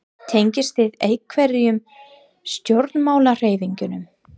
Tengist þið einhverjum stjórnmálahreyfingum?